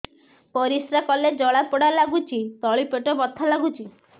ପରିଶ୍ରା କଲେ ଜଳା ପୋଡା ଲାଗୁଚି ତଳି ପେଟ ବଥା ଲାଗୁଛି